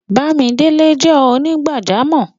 Bàmídélẹ̀ jẹ́ onígbàjàmọ́.